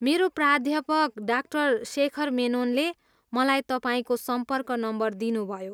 मेरा प्राध्यापक डा. सेखर मेनोनले मलाई तपाईँको सम्पर्क नम्बर दिनुभयो।